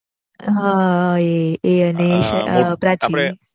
હા એ અને પ્રાચી